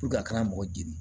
a kana mɔgɔ di